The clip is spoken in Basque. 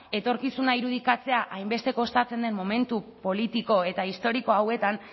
etorkizuna irudikatzea hainbeste kostatzen den momentu politiko eta historiko hauetan